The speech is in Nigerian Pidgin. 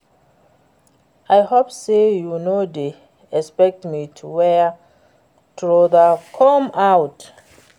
I hope say you no dey expect me to wear trouser come out